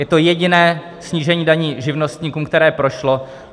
Je to jediné snížení daní živnostníkům, které prošlo.